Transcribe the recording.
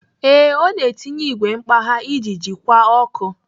Ee, ọ na-etinye igwe mkpagha iji jikwa ọkụ.